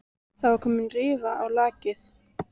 Það var komin rifa á lak.